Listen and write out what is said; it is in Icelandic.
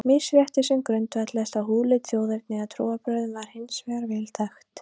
Misrétti sem grundvallaðist á húðlit, þjóðerni eða trúarbrögðum var hins vegar vel þekkt.